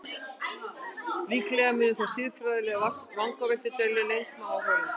Líklega munu þó siðfræðilegar vangaveltur dvelja lengst með áhorfendum.